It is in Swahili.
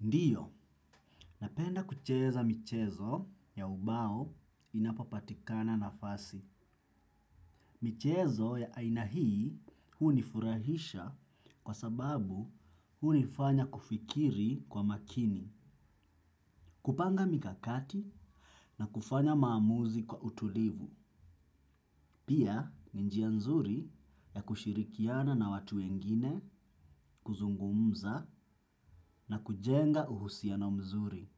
Ndiyo, napenda kucheza michezo ya ubao inapopatikana nafasi. Michezo ya aina hii hunifurahisha kwa sababu hunifanya kufikiri kwa makini, kupanga mikakati na kufanya maamuzi kwa utulivu. Pia ni njia nzuri ya kushirikiana na watu wengine, kuzungumza na kujenga uhusiano mzuri.